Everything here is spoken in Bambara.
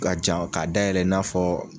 K'a jan k'a dayɛlɛ i n'a fɔ